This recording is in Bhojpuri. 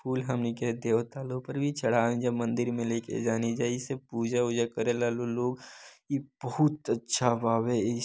फूल हमनी के देवता लोकरी छड़वे जा मंदिर मे लेके जानी जाइश पूजा - वुजा करेला लोग ई बहुत अच्छ भावे।